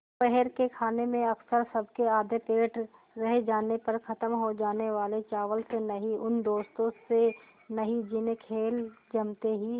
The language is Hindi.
दोपहर के खाने में अक्सर सबके आधे पेट रह जाने पर ख़त्म हो जाने वाले चावल से नहीं उन दोस्तों से नहीं जिन्हें खेल जमते ही